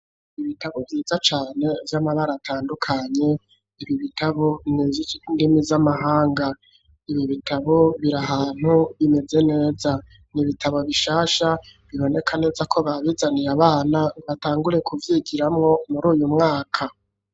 Ibitabo vyiza cane vy'amabara atandukanye ibi bitabo nivyi ndimi z'amahanga, ibi bitabo biri ahantu bimeze neza, n'ibitabo bishasha biboneka neza ko babizanire abana batangure ku vyigiramwo muruyu mwaka.